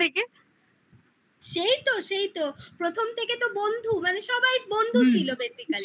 সেই তো সেই তো প্রথম থেকে তো বন্ধু মানে সবাই বন্ধু ছিল হুম basically